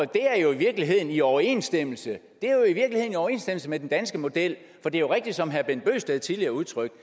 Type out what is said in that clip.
det er jo i virkeligheden i overensstemmelse overensstemmelse med den danske model for det er rigtigt som herre bent bøgsted tidligere udtrykte